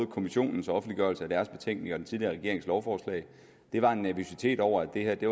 kommissionens offentliggørelse af deres betænkning og den tidligere regerings lovforslag var en nervøsitet over at at det